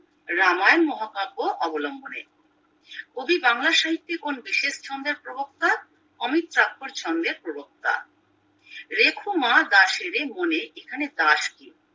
রামায়ণ মহাকাব্য অবলম্বনে কবি বাংলা সাহিত্যের কোন বিশেষ ছন্দের প্রবক্তা অমৃত ছন্দের প্রবক্তা রেখো মা দাসেরে মনে এখানে দাস কে